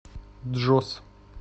джос